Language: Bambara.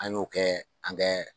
An y'o kɛ an kɛ